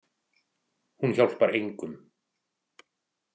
Hún hjálpar engum.